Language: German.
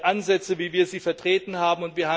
Ansätze wie wir sie vertreten haben.